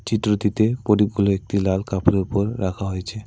চিত্রটিতে প্রদীপগুলো একটি লাল কাপড়ের উপর রাখা হয়েছে।